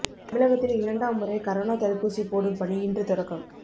தமிழகத்தில் இரண்டாம் முறை கரோனா தடுப்பூசி போடும் பணி இன்று தொடக்கம்